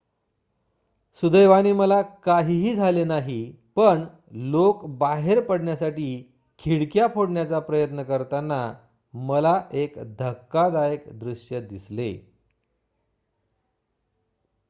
"""सुदैवाने मला काहीही झाले नाही पण लोक बाहेर पडण्यासाठी खिडक्या फोडण्याचा प्रयत्न करताना मला एक धक्कादायक दृश्य दिसले.""